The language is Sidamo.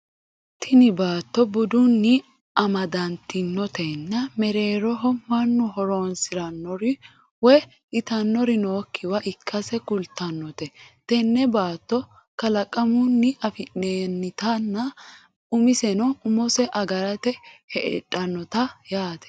tini batto dubbunni amadantinotenna mereeroho mannu horonsirannori woye itannori nookkiwa ikkase kultannote tenne baatto kalaqamunni afi'noonnitenna umisenni umose agarte heedhannote yaate